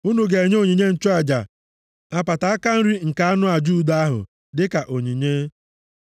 Unu ga-enye onye nchụaja apata aka nri nke anụ aja udo ahụ, dịka onyinye.